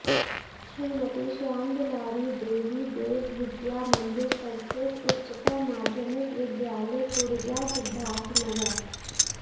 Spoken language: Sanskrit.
श्रीमती श्यामदुलारी देबी देव विद्या मंदिर संस्कृत उच्चतर माध्यमिक विद्यालय कुड़जा सिद्धार्थनगर